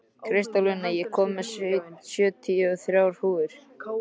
Kristólína, ég kom með sjötíu og þrjár húfur!